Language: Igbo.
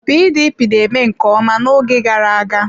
PDP na-eme nke ọma n'oge gara aga.